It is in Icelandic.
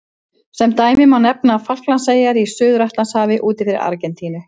Sem dæmi má nefna Falklandseyjar í Suður-Atlantshafi úti fyrir Argentínu.